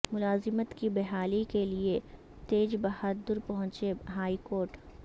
ملازمت کی بحالی کے لئے تیج بہادر پہنچے ہائی کورٹ